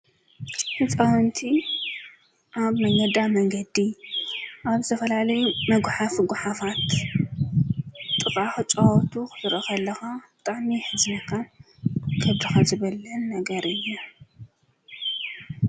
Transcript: ህፃወንቲ ኣብ መነገዳ መንገዲ ኣብ ዘተፈላለይ መጕሓፍ ጕሓፋት ጥቓ ክፃዋቱ ኽድረኽ ኣለኻ ብጣሚ ሕዘነካን ገድኻ ዘበለን ነገር እየ።